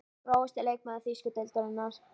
Grófasti leikmaður þýsku deildarinnar?